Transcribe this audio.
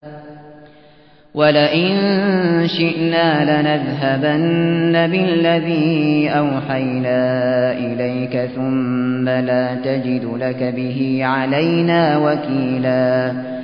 وَلَئِن شِئْنَا لَنَذْهَبَنَّ بِالَّذِي أَوْحَيْنَا إِلَيْكَ ثُمَّ لَا تَجِدُ لَكَ بِهِ عَلَيْنَا وَكِيلًا